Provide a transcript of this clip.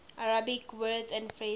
arabic words and phrases